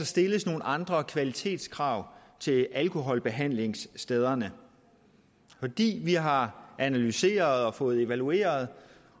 stilles nogle andre kvalitetskrav til alkoholbehandlingsstederne fordi vi har analyseret og evalueret